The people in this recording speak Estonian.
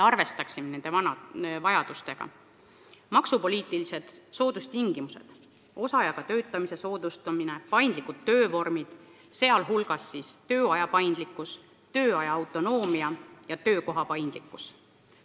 Edasi: maksupoliitilised soodustingimused, osaajaga töötamise soodustamine, paindlikud töövormid, sh võimalus valida tööaega ja töö tegemise kohta.